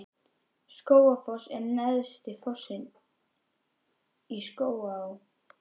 Skógafoss er neðsti fossinn í Skógaá.